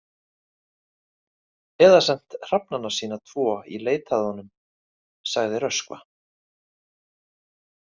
Eða sent hrafnana sína tvo í leit að honum, sagði Röskva.